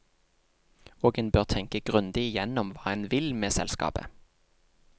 Og en bør tenke grundig igjennom hva en vil med selskapet.